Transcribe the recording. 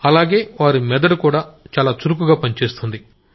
అలాగే మైండ్ కూడా చాలా బాగా పనిచేస్తుంది